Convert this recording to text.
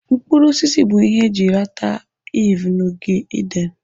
Mkpụrụ osisi bụrụ ihe eji rata Iv na ogige Eden.